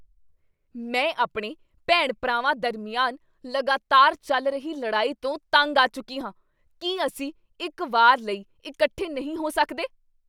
ਮੈਂ ਆਪਣੇ ਭੈਣ ਭਰਾਵਾਂ ਦਰਮਿਆਨ ਲਗਾਤਾਰ ਚੱਲ ਰਹੀ ਲੜਾਈ ਤੋਂ ਤੰਗ ਆ ਚੁੱਕੀ ਹਾਂ ਕੀ ਅਸੀਂ ਇੱਕ ਵਾਰ ਲਈ ਇਕੱਠੇ ਨਹੀਂ ਹੋ ਸਕਦੇ?